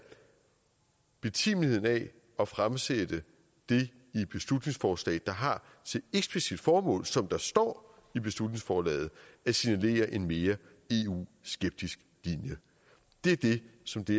betimeligheden af at fremsætte det i et beslutningsforslag der har sit eksplicitte formål som der står i beslutningsforslaget at signalere en mere eu skeptisk linje det er det som det